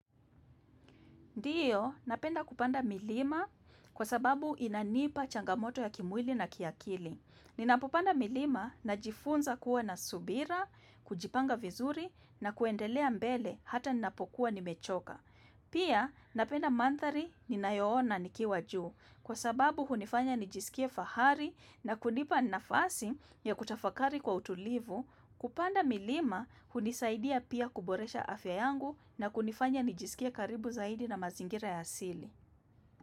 Ndiyo, napenda kupanda milima kwa sababu inanipa changamoto ya kimwili na kiakili. Ninapopanda milima najifunza kuwa na subira, kujipanga vizuri na kuendelea mbele hata ninapokuwa nimechoka. Pia, napenda manthari ninayoona nikiwa juu kwa sababu hunifanya nijisikie fahari na kunipa nafasi ya kutafakari kwa utulivu. Kupanda milima hunisaidia pia kuboresha afya yangu na kunifanya nijisikie karibu zaidi na mazingira ya asili.